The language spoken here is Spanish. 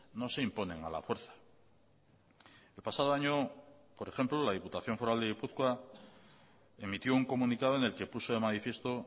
no se imponen a la fuerza el pasado año por ejemplo la diputación foral de gipuzkoa emitió un comunicado en el que puso de manifiesto